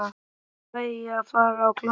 Hvenær fæ ég að fara á klósettið?